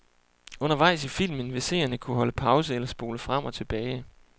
Undervejs i filmen vil seerne kunne holde pause eller spole frem og tilbage.